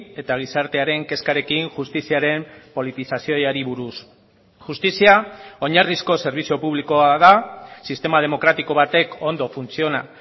eta gizartearen kezkarekin justiziaren politizazioari buruz justizia oinarrizko zerbitzu publikoa da sistema demokratiko batek ondo funtziona